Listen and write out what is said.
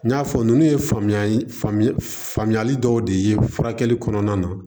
N y'a fɔ ninnu ye faamuya faamuyali dɔw de ye furakɛli kɔnɔna na